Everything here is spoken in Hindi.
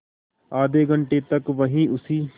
आधे घंटे तक वहीं उसी